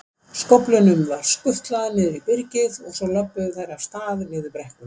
Skóflunum var skutlað niður í byrgið, svo lölluðu þær af stað niður brekkuna.